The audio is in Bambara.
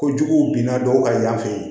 Ko jugu binna dɔw ka y'an fɛ yen